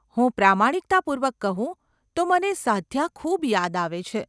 હું પ્રમાણિકતાપૂર્વક કહું તો મને સાદ્યા ખૂબ યાદ આવે છે.